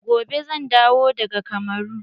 Gobe zan dawo daga kamaru.